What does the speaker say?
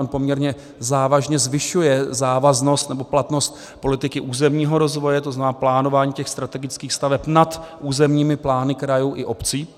On poměrně závažně zvyšuje závaznost nebo platnost politiky územního rozvoje, to znamená plánování těch strategických staveb nad územními plány krajů i obcí.